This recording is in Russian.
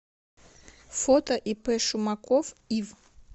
фото ип шумаков ив